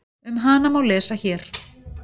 Um hana má lesa hér.